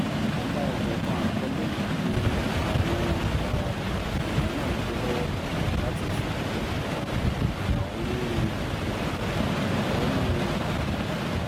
ọ̀kan-ò-jọ̀kan àkọlé ni àwọn um èèyàn náà gbé lọ́wọ́ láti fi um ẹ̀hónú um ẹ̀hónú wọn hàn